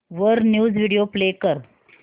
वर news video play कर